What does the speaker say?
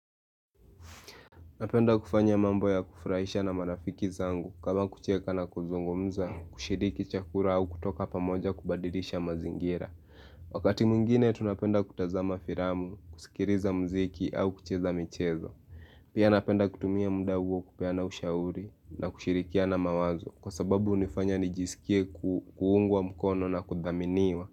Napenda kufanya mambo ya kufurahisha na marafiki zangu kama kucheka na kuzungumza, kushiriki chakula au kutoka pamoja kubadirisha mazingira. Wakati mwingine tunapenda kutazama filamu, kusikiliza mziki au kucheza michezo. Pia napenda kutumia munda huo kupeana ushauri na kushirikiana mawazo kwa sababu hunifanya nijisikie kuungwa mkono na kudhaminiwa.